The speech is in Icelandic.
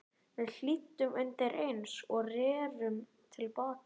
Við hlýddum undireins og rerum til baka.